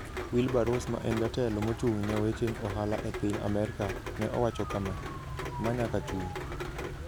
Wilbur Ross, ma en jatelo mochung'ne weche ohala e piny Amerka, ne owacho kama: "Ma nyaka chung".